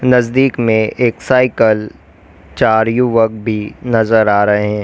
नजदीक में एक साइकिल चार युवक भी नजर आ रहे हैं।